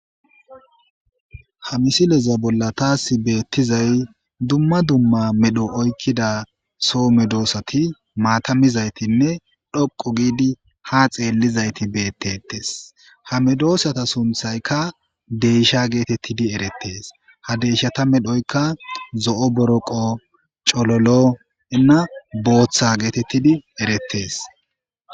Ha misileza ba tasi netizay duma duma medho ykida s medhsati maata mizaytinne dhqu gidi ha xeelizayti beetetes ha medsata sunthayka deysha getetes ha medsata medhyka zo'o boroqo cllnne botha gididi eretes